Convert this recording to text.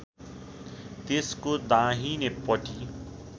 त्यसको दाहिने पटी